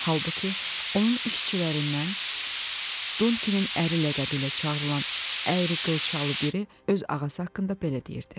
Halbuki, onun işçilərindən Dunkinin əri ləqəbi ilə çağırılan əyri qılçalı biri öz ağası haqqında belə deyirdi: